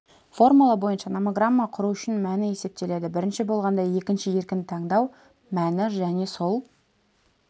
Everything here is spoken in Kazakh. формула бойынша номограмма құру үшін мәні есептеледі бірінші болғанда екінші еркін таңдау мәні және сол